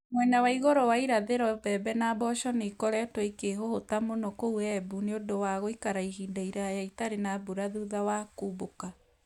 Mwena wa igũrũ wa irathĩro, mbembe na mboco nĩ ikoretwo ikĩhũhũta mũno kũu Embu nĩ ũndũ wa gũikara ihinda iraya itarĩ na mbura thutha wa kũmbũka.